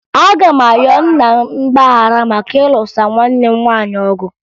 Aga m ayọ nna m mgbaghara maka ịlụso nwanne m nwaanyị ọgụ